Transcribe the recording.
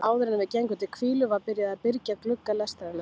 Áðuren við gengum til hvílu var byrjað að byrgja glugga lestarinnar.